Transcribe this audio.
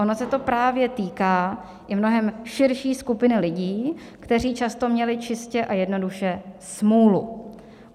Ono se to právě týká i mnohem širší skupiny lidí, kteří často měli čistě a jednoduše smůlu.